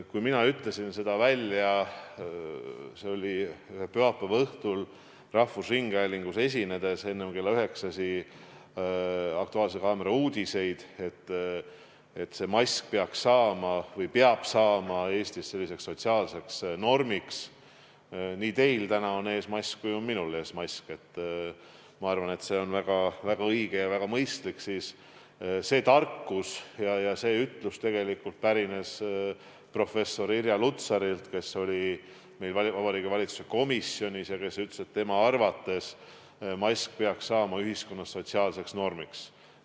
Kui mina ütlesin pühapäeva õhtul rahvusringhäälingus esinedes enne kella üheksasi "Aktuaalse kaamera" uudiseid välja, et mask peaks saama või peab saama Eestis selliseks sotsiaalseks normiks – teil on täna mask ees ja ka minul on mask ees, ma arvan, et see on väga õige ja väga mõistlik –, siis see tarkus ja ütlus pärines tegelikult professor Irja Lutsarilt, kes oli meil Vabariigi Valitsuse komisjonis ja leidis, et tema arvates peaks mask saama ühiskonnas sotsiaalseks normiks.